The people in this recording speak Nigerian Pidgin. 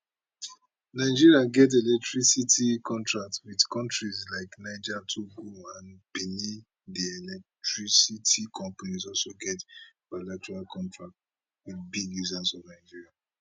nigeria get electricity contracts wit kontries like niger togo and benin di electricity companies also get bilateral contracts wit big users for nigeria